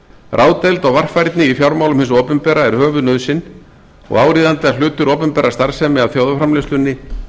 ráðdeild og varfærni í fjármálum hins opinbera er höfuðnauðsyn og áríðandi að hlutur opinberrar starfsemi að þjóðarframleiðslunni